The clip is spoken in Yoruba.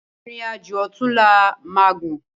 Irin ájó òtúnlá má gún